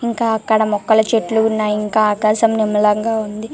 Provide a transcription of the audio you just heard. ఇంకా అక్కడ మొక్కల చెట్లు ఉన్నాయ్ ఇంకా ఆకాశం నీలం గ వుంది.